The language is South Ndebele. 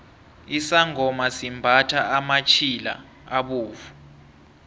isangoma simbathha amatjhila abovu